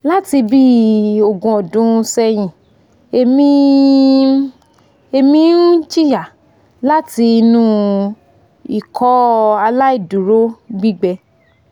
lati bi ogun odun sehin emi n emi n jiya lati inu ikọaláìdúró gbigbẹ